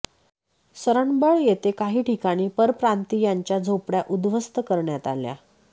सरंबळ येथे काही ठिकाणी परप्रांतीयांच्या झोपडय़ा उद्ध्वस्त करण्यात आल्या